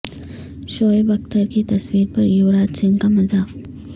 شعیب اختر کی تصویر پر یوراج سنگھ کا مذاق